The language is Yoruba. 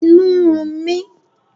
Inú ń run mi